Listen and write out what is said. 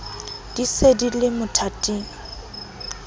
di se di le mothating